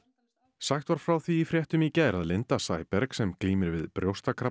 sagt var frá því í fréttum í gær að Linda Sæberg sem glímir við brjóstakrabbamein